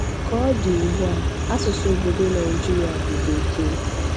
Ka ọ dị ugbu a, asụsụ obodo Naijiria bụ Bekee.